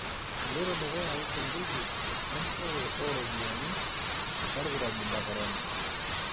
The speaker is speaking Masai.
Eloito dukuya uchunguzi empurore oo ropiyiani olkirobi le Korona.